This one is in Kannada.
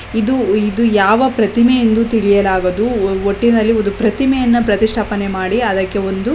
ಇದು ಇದು ಯಾವ ಪ್ರತಿಮೆ ಎಂದು ತಿಳಿಯಲಾಗದು ಒಟ್ಟಿನಲ್ಲಿ ಒಂದು ಪ್ರತಿಮೆಯನ್ನು ಪ್ರದರ್ಶನ ಮಾಡಿ ಅದಕ್ಕೆ ಒಂದು--